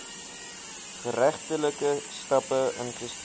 geregtelike stappe ingestel